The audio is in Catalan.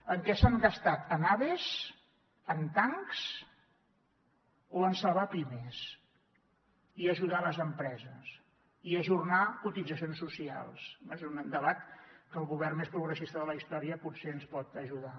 en què s’han gastat en aves en tancs o en salvar pimes i ajudar les empreses i ajornar cotitzacions socials és un debat que el govern més progressista de la història potser ens pot ajudar